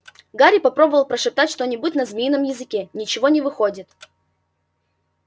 гарри попробовал прошептать что-нибудь на змеином языке ничего не выходит